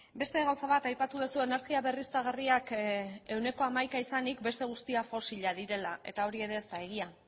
beste gauza bat aipatu duzu energia berriztagarriak ehuneko hamaika izanik beste guztiak fosila direla eta hori ere ez da egia